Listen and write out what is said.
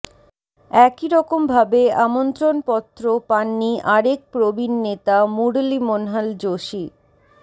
একইরকম ভাবে আমন্ত্রণপত্র পাননি আরেক প্রবীণ নেতা মুরলী মনোহল যোশী